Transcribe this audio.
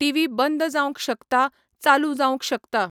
TV बंद जावंक शकता, चालू जावंक शकता.